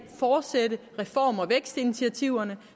fortsætte reform og vækstinitiativerne